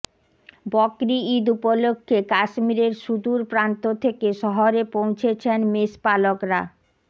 বকরি ইদ উপলক্ষ্যে কাশ্মীরের সুদূর প্রান্ত থেকে শহরে পৌঁছেছেন মেষপালকরা